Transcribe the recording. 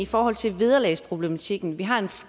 forhold til vederlagsproblematikken vi har en